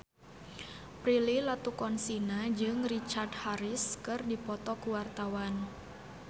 Prilly Latuconsina jeung Richard Harris keur dipoto ku wartawan